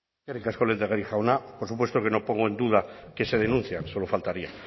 eskerrik asko lehendakari jauna por supuesto que no pongo en duda que se denuncian solo faltaría